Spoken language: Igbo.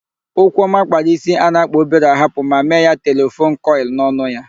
Okwuọma kpara ísí a na-akpa obere ahapụ ma mee ya telefon kọịl n'ọnụ ya.